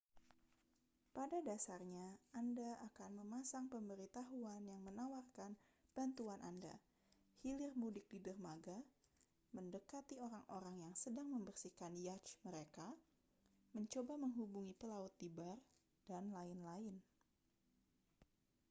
pada dasarnya anda akan memasang pemberitahuan yang menawarkan bantuan anda hilir mudik di dermaga mendekati orang-orang yang sedang membersihkan yacht mereka mencoba menghubungi pelaut di bar dan lain-lain